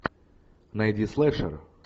найди слешер